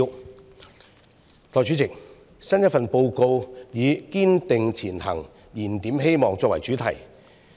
代理主席，新一份施政報告以"堅定前行燃點希望"作為主題。